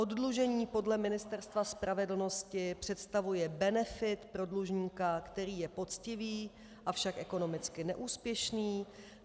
Oddlužení podle Ministerstva spravedlnosti představuje benefit pro dlužníka, který je poctivý, avšak ekonomicky neúspěšný.